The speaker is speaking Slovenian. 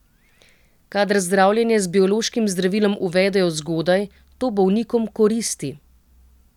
Kadar zdravljenje z biološkim zdravilom uvedejo zgodaj, to bolnikom koristi.